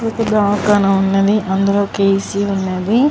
ఒక దావాఖాన ఉన్నది అందులో ఏ.సి ఉన్నది.